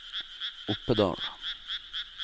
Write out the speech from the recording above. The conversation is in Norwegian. Oppedal